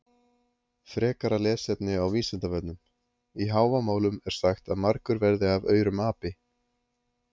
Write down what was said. Frekara lesefni á Vísindavefnum: Í Hávamálum er sagt að margur verði af aurum api.